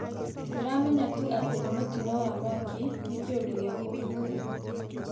Ndĩramenya tu atĩ nĩ mũtĩno wa mwakĩ, nĩ kĩundũ gĩa kũmakanĩa